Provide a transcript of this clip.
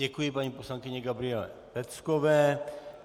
Děkuji paní poslankyni Gabriele Peckové.